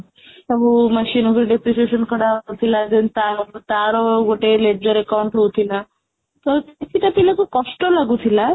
ସବୁ deprecation କଢ଼ା ଯାଉଥିଲା then ତାର ଗୋଟେ leader account ରହୁଥିଲା ତ କିଛି ଟା ଥିଲା ଯଉ କଷ୍ଟ ଲାଗୁଥିଲା